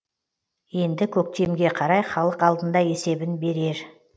енді көктемге қарай халық алдында есебін берер